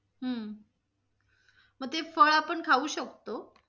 हम्म मग ते फळ आपण खाऊ शकतो?